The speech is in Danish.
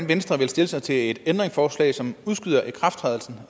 venstre stille sig til et ændringsforslag som udskyder ikrafttrædelsen